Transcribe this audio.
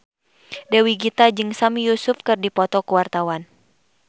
Dewi Gita jeung Sami Yusuf keur dipoto ku wartawan